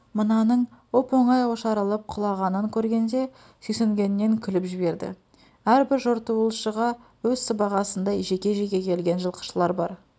мынаның оп-оңай ошарылып құлағанын көргенде сүйсінгеннен күліп жіберді әрбір жортуылшыға өз сыбағасындай жеке-жеке келген жылқышылар бар